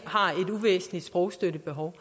uvæsentligt sprogstøttebehov